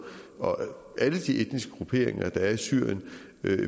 og alle de etniske grupperinger der er i syrien